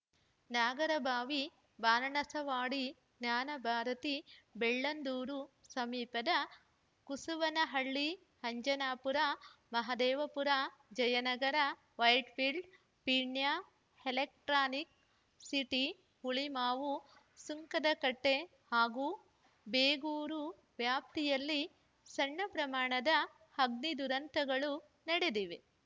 ನಾಗರಬಾವಿ ಬಾರಣಸವಾಡಿ ಜ್ಞಾನಭಾರತಿ ಬೆಳ್ಳಂದೂರು ಸಮೀಪದ ಕಸುವನಹಳ್ಳಿ Anjanapura Mahadevapura Jayanagar ವೈಟ್‌ಫೀಲ್ಡ್ಪೀಣ್ಯ electronic city Hulimavu ಸುಂಕದಕಟ್ಟೆಹಾಗೂ Begur ವ್ಯಾಪ್ತಿಯಲ್ಲಿ ಸಣ್ಣ ಪ್ರಮಾಣದ ಅಗ್ನಿ ದುರಂತಗಳು ನಡೆದಿವೆ